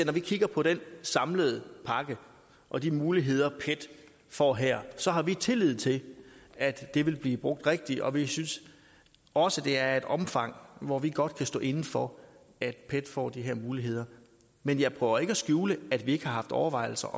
kigger på den samlede pakke og de muligheder pet får her så har vi tillid til at det vil blive brugt rigtigt og vi synes også det er af et omfang hvor vi godt kan stå inde for at pet får de her muligheder men jeg prøver ikke at skjule at vi ikke har haft overvejelser